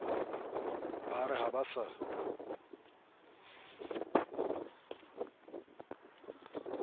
ba re ha ba sa